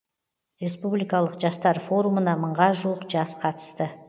республикалық жастар форумына мыңға жуық жас қатысты